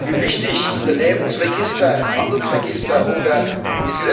Wie wichtig Unternehmensregister, Handelsregister oder wie es z.